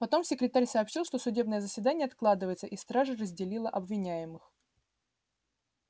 потом секретарь сообщил что судебное заседание откладывается и стража разделила обвиняемых